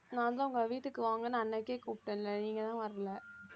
நான்தான் உங்களை வீட்டுக்கு வாங்கன்னு அன்னைக்கே கூப்பிட்டேன்ல நீங்கதான் வரலை